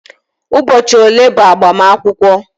Ụbọchị ole bụ mgbamakwukwo